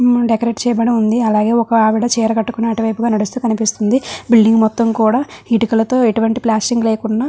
మ్మ్ decorate చేయబడి ఉంది అలాగే ఒక ఆవిడ చీర కట్టుకొని అటువైపు గా నడుస్తూ కనిపిస్తుంది బిల్డింగ్ మొత్తం కూడా ఇటుకలతో ఇటువంటి ప్లాస్టింగ్ లేకున్నా --